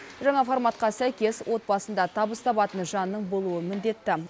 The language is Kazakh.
жаңа форматқа сәйкес отбасында табыс табатын жанның болуы міндетті